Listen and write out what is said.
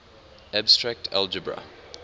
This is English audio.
abstract algebra